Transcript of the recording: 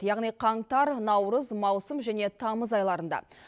яғни қаңтар наурыз маусым және тамыз айларында